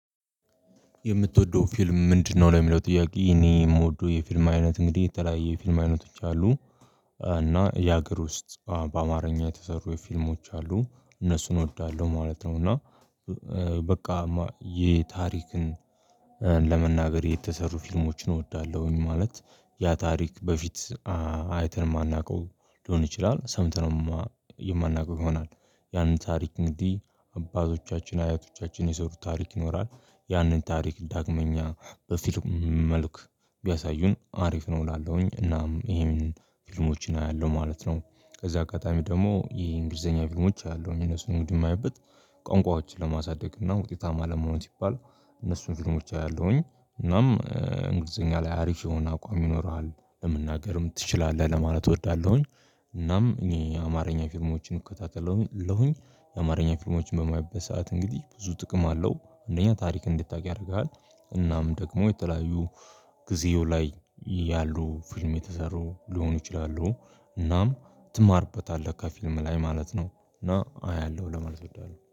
የምትወደው ፊልም ምንድነው? ለሚለው ጥያቄ እኔ የምወደው የፊልም አይነት እንግዲህ የተለያየ ፊልም አይነቶች አሉ እና የሀገር ውስጥ በአማርኛ የተሰሩ የፊልሞች አሉ እነሱን እወዳለሁ ማለት ነው። እና በቃ የታሪክን ለመናገር የተሰሩ ፊልሞችን እወዳለሁኝ ማለት ያ ታሪክ በፊት አይተን የማናውቀው ሊሆን ይችላል። ሰምተነው የማናውቀው ይሆናል ያንን ታሪክ እንዲህ አባቶቻችን አያቶቻችን የሰሩ ታሪክ ይኖራል። ያንን ታሪክ ዳግመኛ በፊልም መልክ ቢያሳዩን አሪፍ ነው እላለሁኝ። እናም ይሄን ፊልሞችን አያለሁ ማለት ነው። ከዛ አጋጣሚ ደግሞ የእንግሊዘኛ ፊልሞች አያለሁ እነሱን ውድ የማይበት ቋንቋዎችን ለማሳደግ እና ውጤታማ ለመሆን ሲባል እነሱን ፊልሞች አያለሁኝ። እናም እንግሊዘኛ ላይ አሪፍ የሆነ አቋም ይኖርሃል ለመናገርም ትችላለህ ለማለት እወዳለሁኝ። እናም እኚህ አማርኛ ፊርሞችን እከታተላለሁኝ የአማርኛ ፊርሞችን በማይበሳት እንግዲህ ብዙ ጥቅም አለው አንደኛ ታሪክ እንድታውቅ ያደርግሃል። እናም ደግሞ የተለያዩ ጊዜው ላይ ያሉ ፊልም የተሰሩ ሊሆኑ ይችላሉ እናም ትማርበታለህ ከፊልም ላይ ማለት ነው። እና አያለሁ ለመልስ እበላለሁ